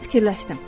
Mən fikirləşdim.